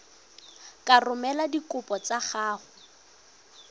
ka romela dikopo tsa gago